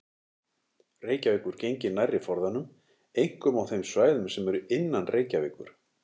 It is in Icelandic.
Reykjavíkur gengi nærri forðanum, einkum á þeim svæðum sem eru innan Reykjavíkur.